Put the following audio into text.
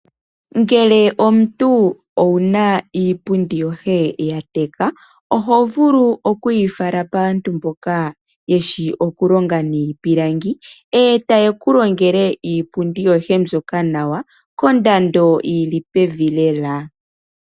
Ngele omuntu owuna iipundi yoye ya teka, oho vulu okuyi fala paantu mboka yeshi okulonga niipilangi e ta ye ku longele iipundi yoye mbyoka nawa kondando yi li pevi lela.